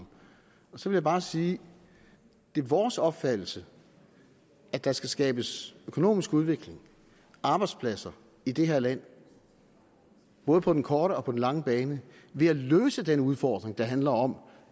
så vil jeg bare sige det er vores opfattelse at der skal skabes økonomisk udvikling arbejdspladser i det her land både på den korte og på den lange bane ved at løse den udfordring der handler om